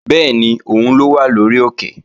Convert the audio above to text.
Bẹ́ẹ̀ni, òun ló wà lórí òkè